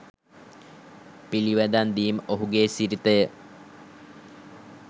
පිළිවදන් දීම ඔහුගේ සිරිතයි.